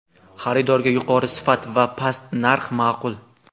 Xaridorga yuqori sifat va past narx ma’qul.